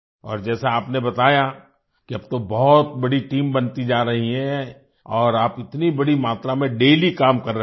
और जैसा आपने बताया कि अब तो बहुत बड़ी टीम बनती जा रही है और आप इतनी बड़ी मात्रा में डेली काम कर रहे हैं